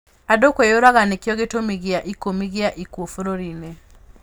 Andũ kwĩyũraga nĩkĩo gĩtũmi gĩa ikũmi gĩa ikuũ bũrũri-inĩ.